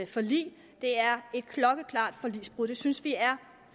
forlig det er et klokkeklart forligsbrud og det synes vi er